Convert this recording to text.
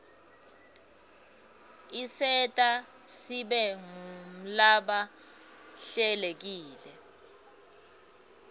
isenta sibe ngulaba hlelekile